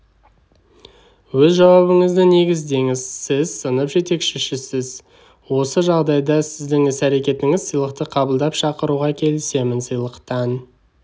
өз жауабыңызды негіздеңіз сіз сынып жетекшісіз осы жағдайда сіздің іс-әрекетіңіз сыйлықты қабылдап шақыруға келісем сыйлықтан